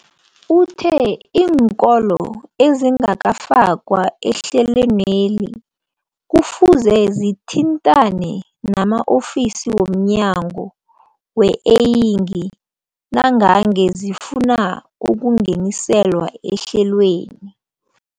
Uthe iinkolo ezingakafakwa ehlelweneli kufuze zithintane nama-ofisi wo mnyango weeyingi nangange zifuna ukungeniswa ehlelweni.